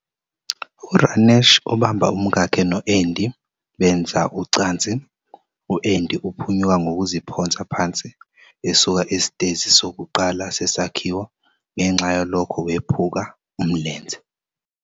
URanesh ubamba umkakhe no-Andy benza ucansi. U-Andy uphunyuka ngokuziphonsa phansi esuka esitezi sokuqala sesakhiwo, ngenxa yalokho wephuka umlenze.